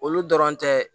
Olu dɔrɔn tɛ